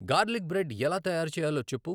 garlic bread ఎలా తయారుచేయలో చెప్పు